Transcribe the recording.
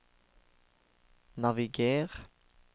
naviger